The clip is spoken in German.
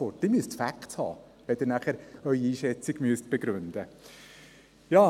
Sie müssen Facts haben, wenn Sie Ihre Einschätzung begründen müssen.